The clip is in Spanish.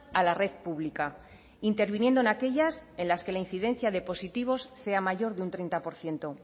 a la red pública interviniendo en aquellas en las que la incidencia de positivos sea mayor de un treinta por ciento